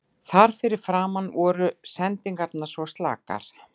Þar fyrir framan voru sendingarnar svo slakar.